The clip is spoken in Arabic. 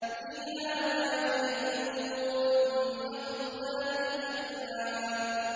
فِيهَا فَاكِهَةٌ وَالنَّخْلُ ذَاتُ الْأَكْمَامِ